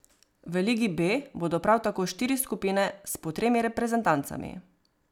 V ligi B bodo prav tako štiri skupine s po tremi reprezentancami.